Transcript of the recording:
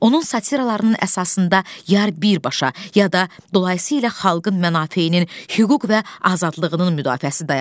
Onun satıralarının əsasında yar birbaşa, ya da dolayısı ilə xalqın mənafeyinin, hüquq və azadlığının müdafiəsi dayanır.